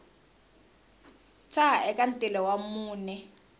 tshaha eka ntila wa mune